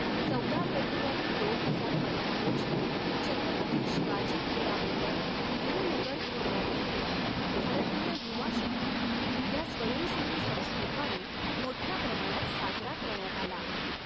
चौदा फेब्रुवारी दोन हजार पंधरा रोजी, छत्रपती शिवाजी क्रीडा मंडळ, नेहरू नगर, कुर्ला येथे भारतीय युवा शक्ती या स्वयंसेवी संस्थेद्वारे मोठ्या प्रमाणात साजरा करण्यात आला.